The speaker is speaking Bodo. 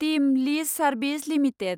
team lease services limited